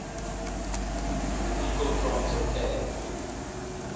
people from torquay